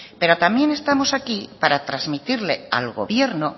pero también estamos aquí para transmitirle al gobierno